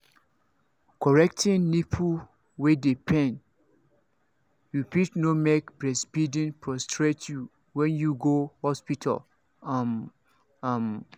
correcting nipple wey dey pain you fit no make breastfeeding frustrate you when you go hospital um um